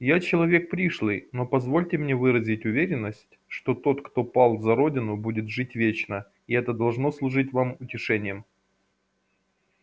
я человек пришлый но позвольте мне выразить уверенность что тот кто пал за родину будет жить вечно и это должно служить вам утешением